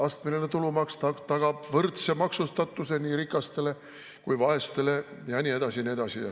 Astmeline tulumaks tagab võrdse maksustatuse nii rikastele kui vaestele ja nii edasi ja nii edasi.